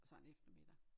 Sådan en eftermiddag